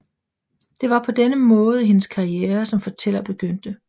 Det var på denne måde hendes karriere som fortæller begyndte